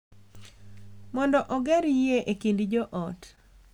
Mondo oger yie e kind joot.